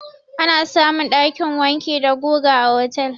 Ana samun ɗakin wanki da guga a otel.